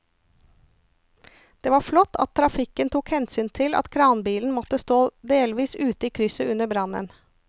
Det var flott at trafikken tok hensyn til at kranbilen måtte stå delvis ute i krysset under brannen.